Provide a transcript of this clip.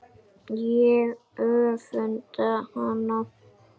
Ég öfunda hana.